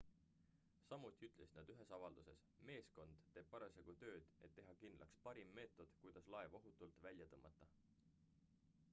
samuti ütlesid nad ühes avalduses meeskond teeb parasjagu tööd et teha kindlaks parim meetod kuidas laev ohutult välja tõmmata